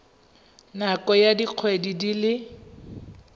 nakong ya dikgwedi di le